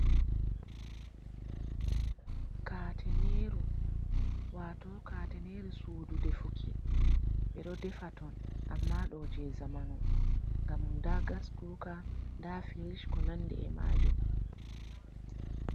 Kateneru, wato kateneru sudu defuki. Ɓe ɗo defa ton amma ɗo je zamanu. Ngam nda gas kuka, nda firish ko nandi e majum.